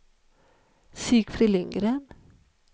Sigfrid Lindgren